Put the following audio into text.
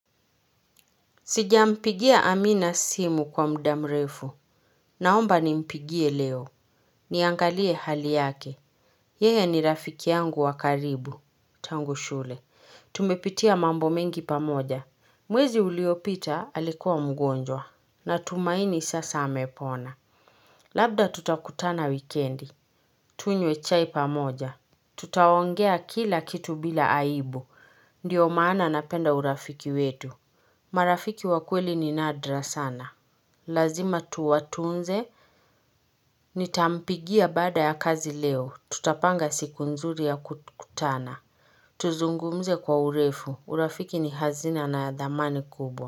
Sijampigia Amina simu kwa muda mrefu. Naomba ni mpigie leo. Niangalie hali yake. Yehe ni rafiki yangu wakaribu. Tangu shule. Tumepitia mambo mengi pamoja. Mwezi uliopita alikuwa mgonjwa. Na tumaini sasa amepona. Labda tutakutana wikendi. Tunywe chai pamoja. Tutaongea kila kitu bila aibu. Ndiyo maana napenda urafiki wetu. Marafiki wakweli ni nadra sana Lazima tuwatunze Nitampigia baada ya kazi leo, tutapanga siku nzuri ya kutana Tuzungumze kwa urefu, urafiki ni hazina na adhamani kubo.